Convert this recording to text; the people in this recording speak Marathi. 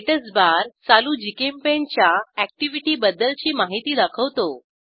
स्टॅटसबार चालू जीचेम्पेंट च्या अॅक्टिव्हिटीबद्दलची माहिती दाखवतो